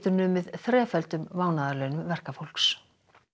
numið þreföldum mánaðarlaunum verkafólks